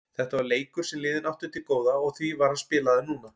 Þetta var leikur sem liðin áttu til góða og því var hann spilaður núna.